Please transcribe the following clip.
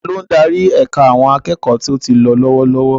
Ta ló ń darí ẹ̀ka àwọn akẹ́kọ̀ọ́ tó ti lọ lọ́wọ́lọ́wọ́?